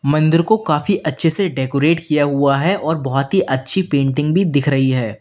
मंदिर को काफी अच्छे से डेकोरेट किया हुआ है और बहोत ही अच्छी पेंटिंग भी दिख रही है।